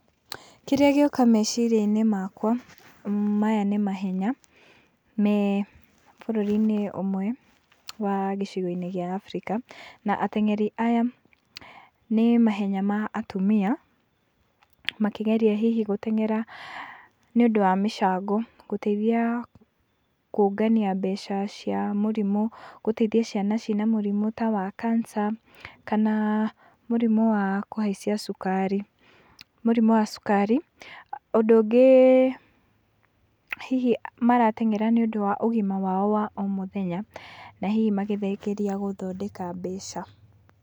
Kĩrĩa gĩoka meciria-inĩ makwa, maya nĩ mahenya me bũrũri-inĩ ũmwe wa gĩcigo-inĩ gĩa Africa, na ateng'eri aya nĩ mahenya ma atumia, makĩgeria hihi gũteng'era nĩũndũ wa mĩcango, gũteithia kũngania mbeca cia mũrimũ, gũteithia ciana ciĩna mũrimũ ta wa cancer kana mũrimũ wa kũhaicia cukari mũrimũ wa cukari. Ũndũ ũngĩ hihi marateng'era nĩũndũ wa ũgima wao wa o mũthenya na hihi magĩthengeria gũthondeka mbeca.